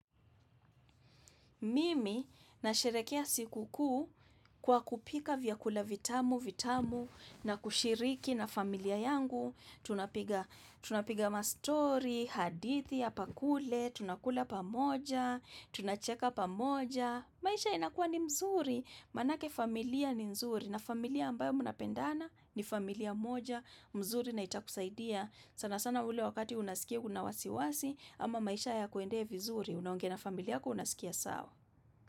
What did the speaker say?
Mimi nasherehekea siku kuu kwa kupika vyakula vitamu, vitamu, na kushiriki na familia yangu. Tunapiga ma stori, hadithi, hapa kule, tunakula pamoja, tunacheka pamoja. Maisha inakua ni mzuri, maanake familia ni mzuri. Na familia ambayo mnapendana ni familia moja, mzuri na itakusaidia. Sana sana ule wakati unasikia una wasiwasi, ama maisha hayakuendei vizuri. Unaongea na familia yako unasikia sawa.